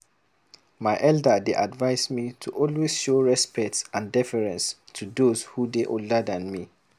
My elder dey advise me to always show respect and deference to those who dey older than me.